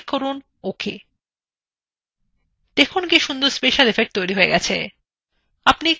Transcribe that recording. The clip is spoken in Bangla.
দেখুন কি সুন্দর স্পেশাল এফেক্ট তৈরী হয়েছে !